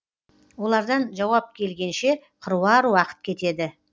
олардан жауап келгенше қыруар уақыт кетеді